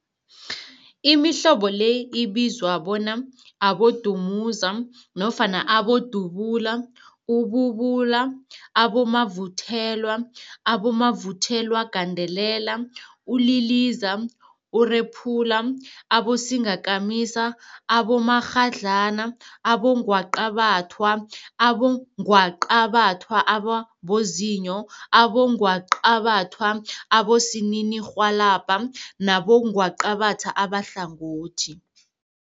Imihlobo le ibizwa bona, abodumuza nofana abodubula, ububula, abomavuthelwa, abomavuthelwagandelela, uliliza, urephula, abosingakamisa, abomakghadlana, abongwaqabathwa, abongwaqabathwa ababozinyo, abongwaqabathwa abosininirhwalabha nabongwaqabatha abahlangothi.